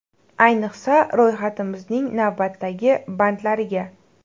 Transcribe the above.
Ayniqsa ro‘yxatimizning navbatdagi bandlariga.